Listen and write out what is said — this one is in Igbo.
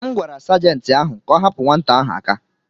M gwara Sajentị ahụ ka ọ hapụ nwata ahụ aka.